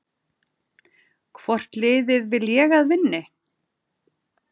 Hvort liðið vil ég að vinni?